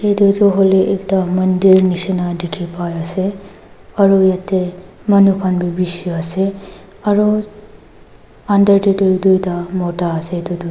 itu toh huile ekta mandir nishina dikhi paiase aru yete manu bi bishi ase aru bitor teh tu duita mota ase itutu.